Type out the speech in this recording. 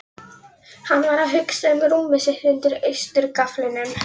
Hann var að hugsa um rúmið sitt undir austurgaflinum.